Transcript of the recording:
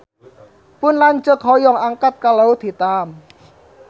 Pun lanceuk hoyong angkat ka Laut Hitam